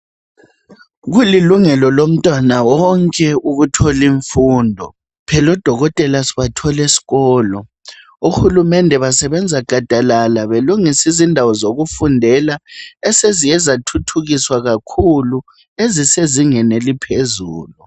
Kulilungelo lomntwana wonke ukuthola imfundo. Phela odokotela sibathola esikolo. Uhulumende basebenza gadalala , belungisa izindawo yokufundela, esiziye zathuthukiswa kakhulu. Ezisezingeni eliphezulu.